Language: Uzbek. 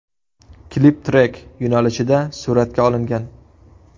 Klip trek yo‘nalishida suratga olingan.